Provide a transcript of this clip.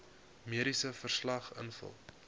mediese verslag invul